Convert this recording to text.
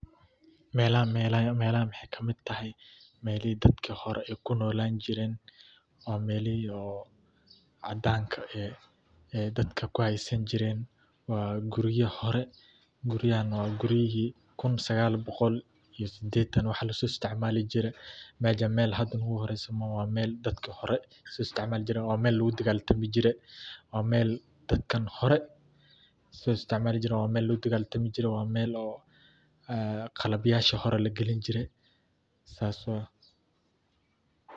Melahan melahan mexey kamiid tahay melihi dadka hoore kuu nolaan jiiren waa melihi oo cadanka eey dadka kuu haysaan jiren. waa gurya hoore. guryahaan waa guryihii kun sagaal boqol iyo sidetaan wax lasoo isticmaali jiire mejaan mel hadaa noguu horeysa mooho waa mel dadkii hoore soo isticmaali jiiren waa mel laguu dagaaltami jiire waa mel daadkan hoore soo isticmaali jiren waa mel laguu dagaltaami jire waa mel oo eeqalabyaashi hoore laa galiini jiire sas waye.